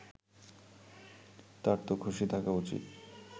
তারতো খুশি থাকা উচিত